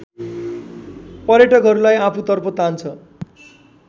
पर्यटकहरूलाई आफूतर्फ तान्छ